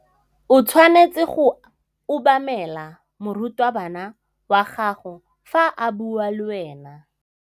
O tshwanetse go obamela morutabana wa gago fa a bua le wena.